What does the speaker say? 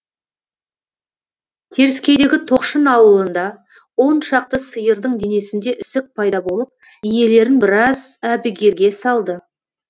теріскейдегі тоқшын ауылында он шақты сиырдың денесінде ісік пайда болып иелерін біраз әбігерге салды